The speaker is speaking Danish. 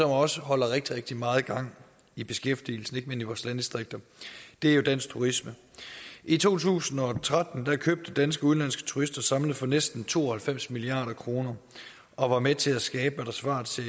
også holder rigtig rigtig meget gang i beskæftigelsen ikke mindst i vores landdistrikter og det er jo dansk turisme i to tusind og tretten købte danske og udenlandske turister samlet set for næsten to og halvfems milliard kroner og var med til at skabe hvad der svarer til